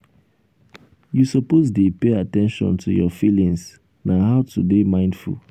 you suppose dey pay at ten tion to your feelings na how to dey mindful.